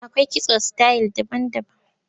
Akwai kitso sitayil daban-daban.